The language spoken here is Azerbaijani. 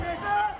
Ey bəşər!